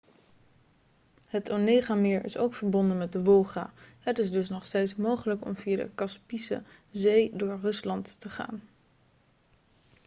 het onegameer is ook verbonden met de wolga het is dus nog steeds mogelijk om via de kaspische zee door rusland te gaan